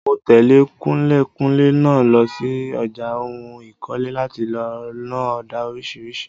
Mo tẹ̀lé kunlékunlé náà lọ sí ọjà ohun ìkọ́lé láti lọ ná ọ̀dà oríṣiríṣi.